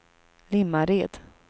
Limmared